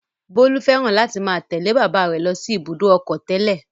Bólú fẹ́ràn láti máa tẹ̀lé bàbá rẹ̀ lọ sí Ibùdó-ọkọ̀ tẹ́lẹ̀.